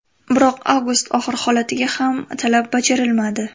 Biroq avgust oxiri holatiga ham talab bajarilmadi.